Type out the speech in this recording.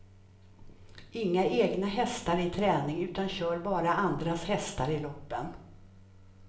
Inga egna hästar i träning utan kör bara andras hästar i loppen.